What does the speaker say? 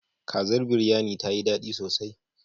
Kazar Biryanin ta yi daɗi sosai.